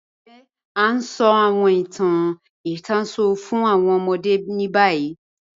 Ǹjẹ̀ a ǹ sọ̀ awọn ìtàn ìtànṣọ̀ fún awọn ọmọdé ni bayi?